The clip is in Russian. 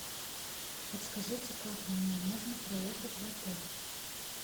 подскажите как мне можно проехать в отель